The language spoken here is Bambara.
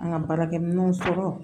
An ka baarakɛminɛnw sɔrɔ